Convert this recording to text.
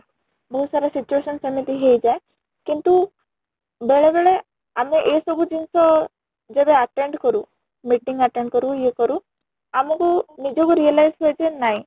ବହୁତ ସାରା situation ସେମିତି ହେଇ ଯାଏ କିନ୍ତୁ ବେଳେ ବେଳେ ଆମେ ଏ ସବୁ ଜିନିଷ ଯେବେ attend କରୁ , meeting attend କରୁ ଇୟେ କରୁ ଆମକୁ ନିଜ କୁ realize ହୁଏ ଯେ ନାଇଁ